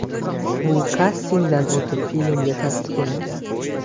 U kastingdan o‘tib filmga tasdiqlangan.